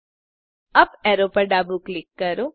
UP arrow પર ડાબું click કરો